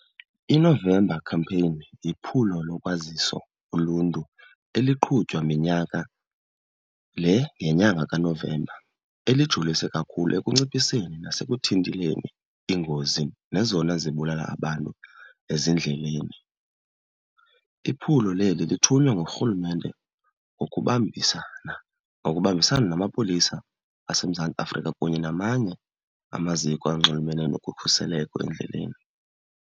INovember Campaign liphulo lokwazisa uluntu eliqhutywa minyaka le ngenyanga kaNovemba elijolise kakhulu ekunciphiseni nasekuthinteleni iingozi nezona zibulala abantu ezindleleni. Iphulo leli lithunywa ngurhulumente ukubambisana nokubambisana namapolisa aseMzantsi Afrika kunye namanye amaziko anxulumene nokukhuseleko endleleni.